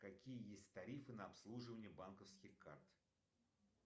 какие есть тарифы на обслуживание банковских карт